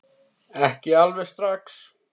Ekki alveg strax